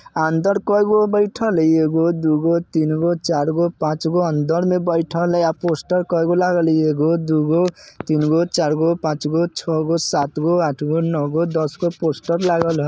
अंदर कइगो बइठल हइ एगो दुगो तीनगो चारगो पाँचगो अंदर में बइठल हइ। आ पोस्टर कईगो लागल ईगो दुगो तीनगो चारगो पाँचगो छगो सातगो आठगो नौगो दसगो पोस्टर लागल हइ।